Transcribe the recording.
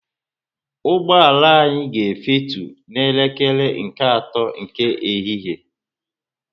Ụgbọala anya ga efutu na elekere nke ato nke ehihie